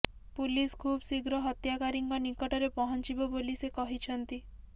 police ଖୁବ ଶୀଘ୍ର ହତ୍ୟାକାରୀଙ୍କ ନିକଟରେ ପହଞ୍ଚିବ ବୋଲି ସେ କହିଛନ୍ତି